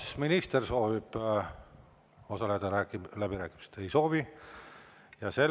Kas minister soovib osaleda läbirääkimistel?